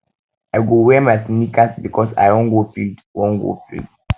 i go wear my sneakers because i wan go field wan go field